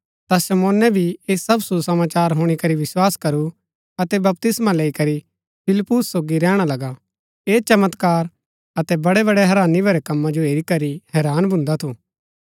ता शमौने भी ऐह सब सुसमाचार हुणी करी विस्वास करू अतै बपतिस्मा लैई करी फिलिप्पुस सोगी रैहणा लगा ऐह चमत्कार अतै बड़ेबड़े हैरानी भरै कम्मा जो हेरी करी हैरान भून्दा थू